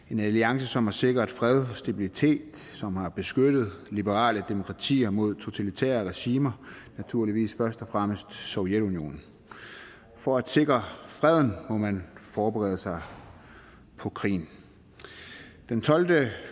en alliance som har sikret fred stabilitet som har beskyttet liberale demokratier mod totalitære regimer naturligvis først og fremmest sovjetunionen for at sikre freden må man forberede sig på krigen den tolvte